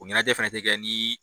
O ɲanajɛ fɛnɛ ti kɛ ni